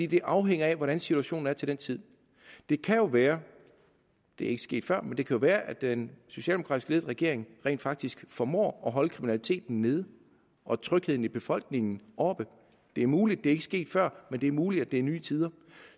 det afhænger af hvordan situationen er til den tid det kan jo være det er ikke sket før men det kan være at den socialdemokratisk ledede regering rent faktisk formår at holde kriminaliteten nede og trygheden i befolkningen oppe det er muligt det er ikke sket før men det er muligt at det er nye tider og